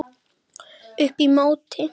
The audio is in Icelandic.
Upp í móti.